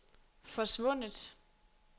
forsvundet